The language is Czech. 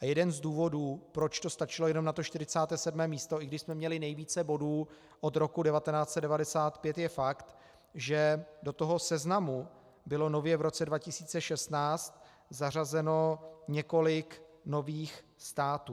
A jeden z důvodů, proč to stačilo jenom na to 47. místo, i když jsme měli nejvíce bodů od roku 1995, je fakt, že do toho seznamu bylo nově v roce 2016 zařazeno několik nových států.